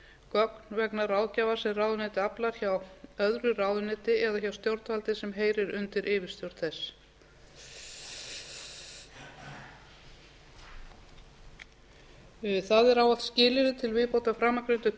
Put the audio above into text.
gögn vegna ráðgjafar sem ráðuneytið aflar hjá öðru ráðuneyti eða hjá stjórnvaldi sem heyrir undir yfirstjórn þess það er ávallt skilyrði til viðbótar framangreindum